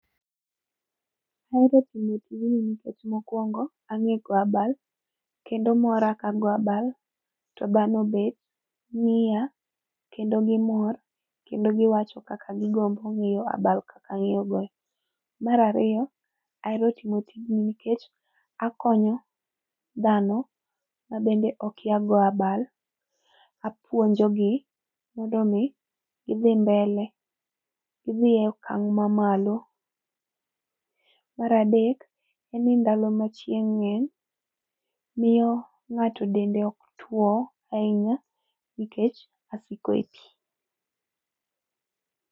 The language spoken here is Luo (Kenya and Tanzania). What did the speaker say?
Ahero timo tijni nikech mokuongo ange go abal kendo mora ka ago abal to dhano obet ngiya kendo gimor kendo giwacho kaka gigombo ngeyo abal kaka angeyo goyo. Mar ariyo, ahero timo tijni nikech akonyo dhano mabende okia goyo abal, apuonjogi mondo mi gidhi mbele, gidhi e okang mamalo. Mar adek en ni ndalo ma chieng ngeny miyo ngato dende ok tuo ahinya nikech asiko ei pii